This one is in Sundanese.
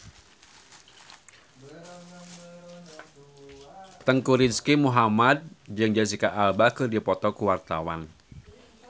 Teuku Rizky Muhammad jeung Jesicca Alba keur dipoto ku wartawan